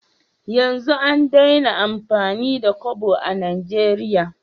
Yanzu an Daina amfani da Kobo a nigeria